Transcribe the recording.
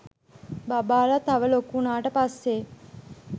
බබාලා තව ලොකු උනාට පස්සේ